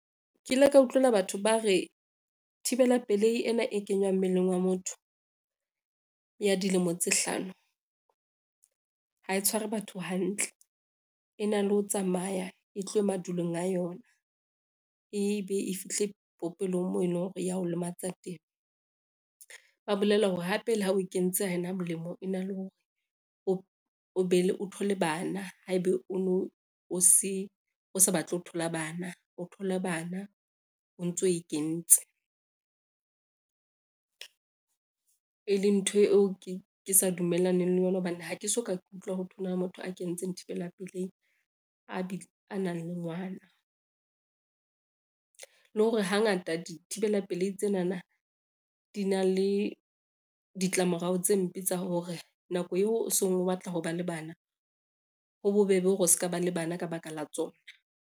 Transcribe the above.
Ke ile ka utlwela batho ba re thibela pelehi ena e kenywang mmeleng wa motho, ya dilemo tse hlano ha e tshware batho hantle, e na le ho tsamaya e tlowe madulong a yona, ebe e fihle popelong moo e lo hore yao lematsa teng. Ba bolela hore hape le ha o kentse ha ena molemo, e na le hore o thole bana ha ebe o no o se o sa batle ho thola bana, o thole bana o ntso e kentse, e leng ntho eo ke sa dumellaneng le yona hobane ha ke so ka ke utlwa ho thwe ho na motho a kenetseng thibela pelehi a nang le ngwana. Le hore hangata dithibela pelehi tsenana di na le ditlamorao tse mpe tsa hore nako eo o seng o batla ho ba le bana ho bobebe hore o ska ba le bana ka baka la tsona.